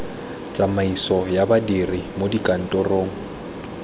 tsamaiso ya badiri mo dikantorong